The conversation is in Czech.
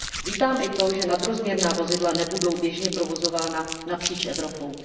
Vítám i to, že nadrozměrná vozidla nebudou běžně provozována napříč Evropou.